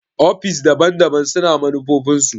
ofis daban-daban su na manufofin su.